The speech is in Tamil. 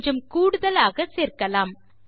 கொஞ்சம் கூடுதலாக சேர்க்கலாம்